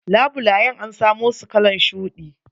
Labulayen an samusu kalan shuɗi.